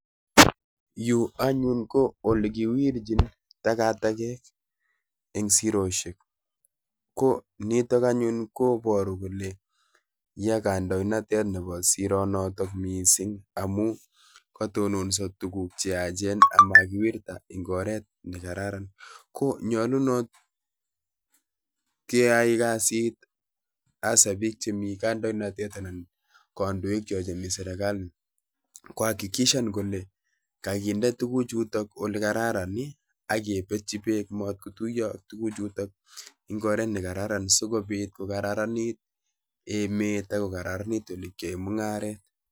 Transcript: Chu anyun ko olekiwirchin takatakek, en siroisiek, ko nittok anyun koboru kole yaah kandoinatet Nebo siroini missing, amun kotononsoo tuguuk che yaachen komakiwirtaa eng oret nakeraaran. Konyolunot keia kasit missing ko bik chemi kandoinatet anan kandoikchok chemi serkalit, kogeer kole kakinde tuguukchuton ole kararan ak kibesyoo ak beek amatkotuiyo ak tuguchuton sikobiit kokararanit emet ak koraranit ole keyaen mungaret